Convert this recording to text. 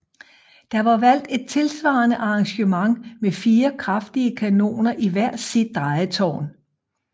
Der var valgt et tilsvarende arrangement med fire kraftige kanoner i hvert sit drejetårn